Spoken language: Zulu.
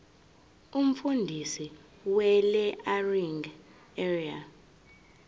umfundisi welearning area